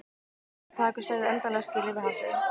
Ég tók mér tak og sagði endanlega skilið við hassið.